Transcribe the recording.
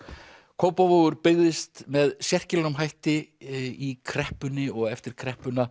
Kópavogur byggðist með sérkennilegum hætti í kreppunni og eftir kreppuna